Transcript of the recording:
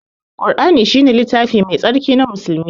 Ƙur'ani shine littafi mai tsarki na musulmi.